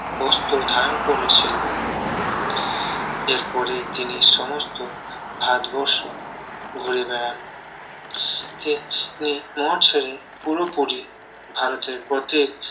বস্ত্র ধারণ করেছিলেন এরপরে তিনি সমস্ত ভারত বর্ষ ঘুরে বেড়ান তিনি মঠ ছেড়ে পুরোপুরি ভারতের প্রত্যেক